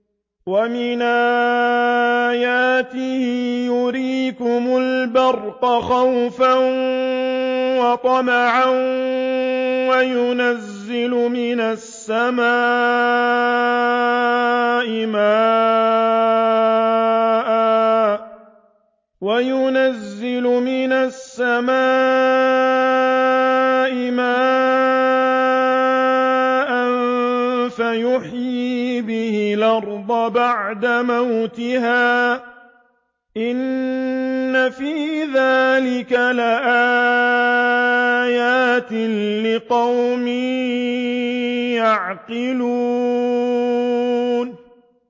وَمِنْ آيَاتِهِ يُرِيكُمُ الْبَرْقَ خَوْفًا وَطَمَعًا وَيُنَزِّلُ مِنَ السَّمَاءِ مَاءً فَيُحْيِي بِهِ الْأَرْضَ بَعْدَ مَوْتِهَا ۚ إِنَّ فِي ذَٰلِكَ لَآيَاتٍ لِّقَوْمٍ يَعْقِلُونَ